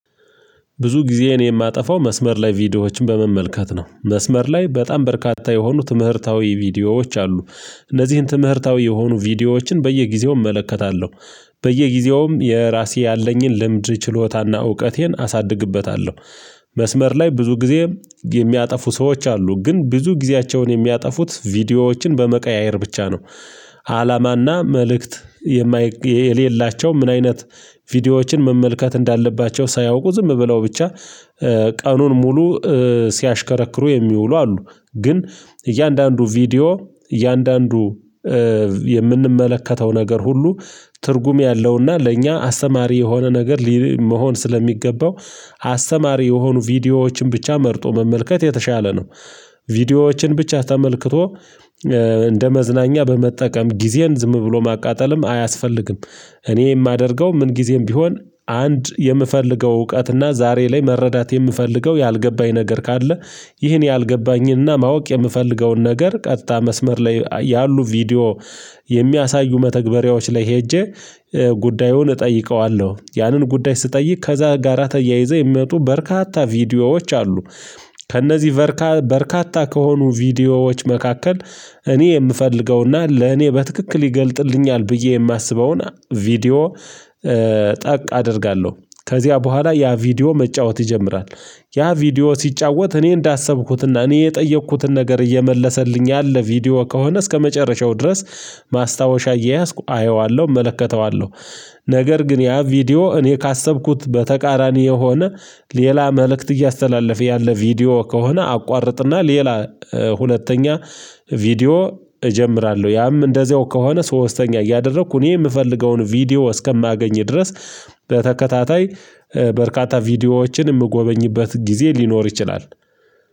ብዙ ጊዜ የማጠፋው መስመር ላይ ቪዲዮዎችን በመመልከት ነው። መስመር ላይ በጣም በርካታ የሆኑ ትምህርታዊ ቪዲዮዎች አሉ። እነዚህን ትምህርታዊ የሆኑ ቪዲዮዎችን በየጊዜው እመለከታለሁ። በየጊዜውም የራሴ ያለኝን ልምድ ችሎታና እውቀቴን አሳድግበታለሁ። መስመር ላይ ብዙ ጊዜ የሚያጠፉ ሰዎች አሉ። ግን ብዙ ጊዜያቸውን የሚያጠፉት ቪዲዮዎችን በመቀያየር ብቻ ነው። አላማና መልእክት የሌላቸው ምን አይነት ቪዲዮዎችን መመልከት እንዳለባቸው ሳያውቁ ዝም ብለው ብቻ ቀኑን ሙሉ ሲያሽከረክሩ የሚውሉ አሉ። ግን እያንዳንዱ ቪዲዮ እያንዳንዱ የምንመለከተው ነገር ሁሉ ትርጉም ያለውና ለእኛ አስተማሪ የሆነ ነገር መሆን ስለሚገባው አስተማሪ የሆኑ ቪዲዮዎችን ብቻ መርጦ መመልከት የተሻለ ነው። ቪዲዮዎችን ብቻ ተመልክቶ እንደ መዝናኛ በመጠቀም ጊዜን ዝም ብሎ ማቃጠልም አያስፈልግም። እኔ የማደርገው ምን ጊዜም ቢሆን አንድ የምፈልገው እውቀትና ዛሬ ላይ መረዳት የምፈልገው ያልገባኝ ነገር ካለ ይህን ያልገባኝንና ማወቅ የምፈልገውን ነገር ቀጥታ መስመር ላይ ያሉ ቪዲዮ የሚያሳዩ መተግበሪያዎች ላይ ሄጄ ጉዳዩን እጠይቀዋለሁ። ያንን ጉዳይ ስጠይቅ ከዛ ጋራ ተያይዘህ የሚመጡ በርካታ ቪዲዮዎች አሉ። ከእነዚህ በርካታ ከሆኑ ቪዲዮዎች መካከል እኔ የምፈልገውና ለእኔ በትክክል ይገልጥልኛል ብዬ የማስበውን ቪዲዮ ጠቅ አደርጋለሁ። ከዚያ በኋላ ያ ቪዲዮ መጫወት ይጀምራል። ያ ቪዲዮ ሲጫወት እኔ እንዳሰብኩትና እኔ የጠየኩትን ነገር እየመለሰልኝ ያለ ቪዲዮ ከሆነ እስከመጨረሻው ድረስ ማስታወሻ እየያዝኩ አየዋለሁ፤ እመለከተዋለሁ። ነገር ግን ያ ቪዲዮ እኔ ካሰብኩት በተቃራኒ የሆነ ሌላ መልእክት እያስተላለፈ ያለ ቪዲዮ ከሆነ አቋርጥና ሌላ ሁለተኛ ቪዲዮ እጀምራለሁ። ያም እንደዚያው ከሆነ ሶስተኛ እያደረኩ እኔ የምፈልገውን ቪዲዮ እስከማገኝ ድረስ በተከታታይ በርካታ ቪዲዮዎችን የምጎበኝበት ጊዜ ሊኖር ይችላል።